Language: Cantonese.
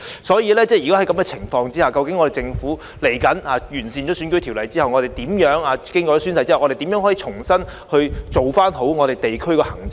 在這種情況下，究竟日後當政府完善選舉條例，以及完善公職人員宣誓安排後，可以如何重新做好地區行政呢？